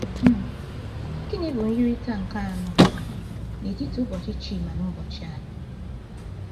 um Gịnị bụ myirịta nke anọ n'etiti ụbọchị Chima na ụbọchị anyị?